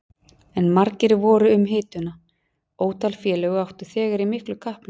En margir voru um hituna, ótal félög áttu þegar í miklu kapphlaupi.